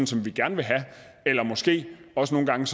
som vi gerne vil have eller måske også nogle gange